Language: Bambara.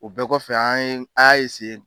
O bɛɛ kɔfɛ an ye an y'a